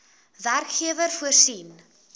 werkgewer voorsien